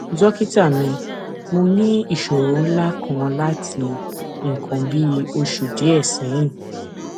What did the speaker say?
dókítà mi mo ní ìṣòro ńlá kan láti nǹkan bí oṣù díẹ sẹyìn